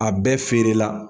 A bɛɛ feere la.